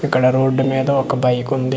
ఇక్కడ రోడ్డు మీద ఒక బైకుంది .